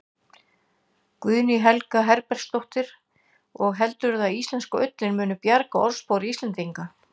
Guðný Helga Herbertsdóttir: Og heldurðu að íslenska ullin muni bjarga orðspori Íslendinga?